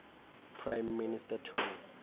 prime minister tony